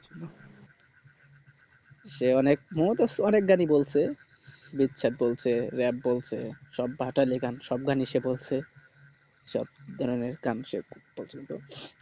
সে অনেক মমতাজ ও অনেক গান ই বলছে বলছে rap বলছে সব ভাটিয়ালি গান সব গান ই সে বলছে